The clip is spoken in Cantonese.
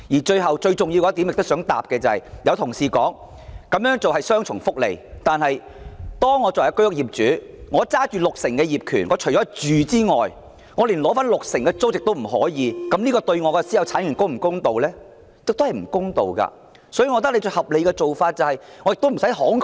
最後，最重要及我想回應的是，有同事表示這種做法是雙重福利，但假如我是居屋業主，手持六成業權，除了自住外，連取得六成的租金收入亦不可，從私有產權的角度而言，這樣對我是否公道？